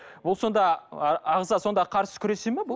ол сонда ағза сонда қарсы күресе ме бұл